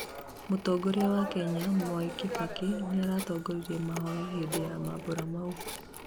mũtongoria wa Kenya Mwai Kibaki nĩaratongoririe mahoya hindi ya mambũra maũ